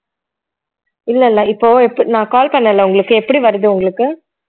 இல்லை இல்லை இப்போ இப்ப நான் call பண்ணல்ல உங்களுக்கு எப்படி வருது உங்களுக்கு